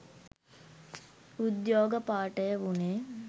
උද්යෝග පාඨය වුනේ